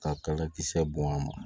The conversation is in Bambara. Ka kala kisɛ bɔn a ma